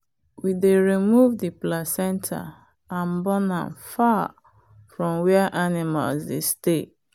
we dey remove the placenta and burn am far from where animals dey stay.